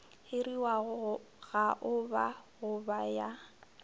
hiriwago gaoba go ba ya